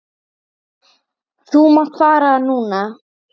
Þú mátt fara núna.